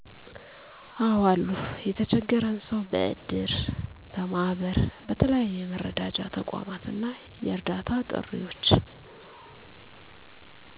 አዎ አሉ የተቸገረን ሰዉ በእድር፣ በማህበር በተለያዩ የመረዳጃ ተቋማት እና የእርዳታ ጥሪዎች